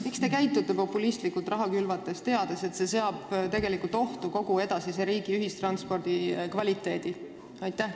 Miks te käitute populistlikult raha külvates, teades, et see seab tegelikult ohtu kogu riigi ühistranspordi edasise kvaliteedi?